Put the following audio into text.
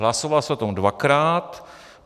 Hlasovalo se o tom dvakrát.